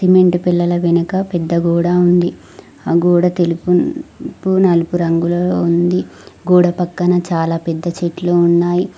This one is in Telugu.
సిమెంట్ పెల్లల వెనుక పెద్ద గోడా ఉంది ఆ గోడ తెలుపు నలుపు రంగులో ఉంది గోడపక్కన చాలా పెద్ద చెట్లు ఉన్నాయ్.